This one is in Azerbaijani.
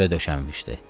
Süfrə döşənmişdi.